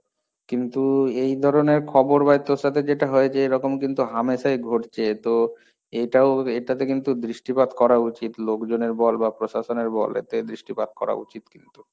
কিন্তু এই ধরনের খবর ভাই তোর সাথে যেটা হয়ছে এরকম কিন্তু হামেশাই ঘটছে, তো এটাও এটাতে কিন্তু দৃষ্টিপাত করা উচিত, লোকজনের বল বা প্রশাসনের বল, এতে দৃষ্টিপাত করা উচিত কিন্তু।